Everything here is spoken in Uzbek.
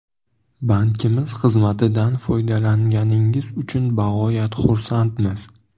Bankimiz xizmatidan foydalanganingiz uchun bog‘oyat xursandmiz.